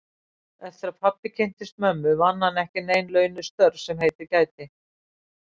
Eftir að pabbi kynntist mömmu vann hann ekki nein launuð störf sem heitið gæti.